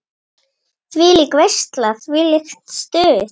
Þvílík veisla, þvílíkt stuð.